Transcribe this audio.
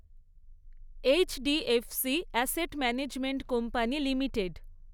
HDFC asset management company limited